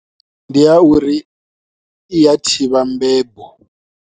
Ndi ya uri i ya thivha mbembo.